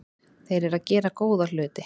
Þeir eru að gera góða hluti.